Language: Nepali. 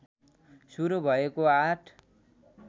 सुरू भएको आठ